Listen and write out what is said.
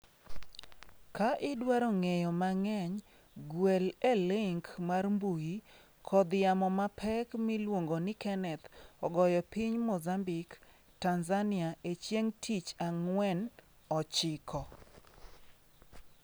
Ka idwaro ng'eyo mang'eny, gwel e link mar mbui: Kodh yamo mapek miluongo ni Kenneth ogoyo piny Mozambik, Tanzania e chieng' tich Ang'wen' ochiko